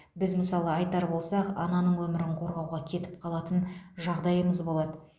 біз мысалы айтар болсақ ананың өмірін қорғауға кетіп қалатын жағдайымыз болады